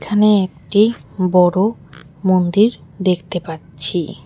এখানে একটি বড়ো মন্দির দেখতে পাচ্ছি।